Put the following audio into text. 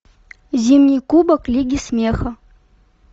зимний кубок лиги смеха